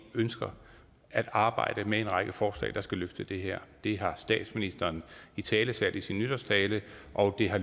ønsker at arbejde med en række forslag der skal løfte det her det har statsministeren italesat i sin nytårstale og det har